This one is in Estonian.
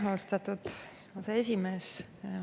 Aitäh, austatud aseesimees!